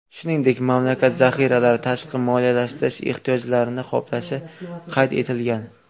Shuningdek, mamlakat zaxiralari tashqi moliyalashtirish ehtiyojlarini qoplashi qayd etilgan.